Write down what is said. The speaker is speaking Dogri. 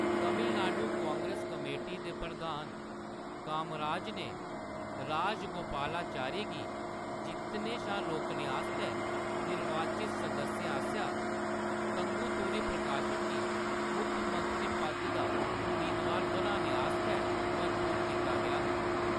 तमिलनाडु कांग्रेस कमेटी दे प्रधान कामराज गी राजगोपालाचारी गी जित्तने शा रोकने आस्तै निर्वाचित सदस्यें आसेआ तंगुतुरी प्रकाशम गी मुक्खमंत्री पद दा अमेदवार बनाने आस्तै मजबूर कीता गेआ हा।